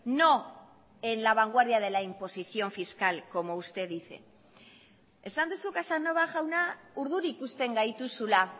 no en la vanguardia de la imposición fiscal como usted dice esan duzu casanova jauna urduri ikusten gaituzula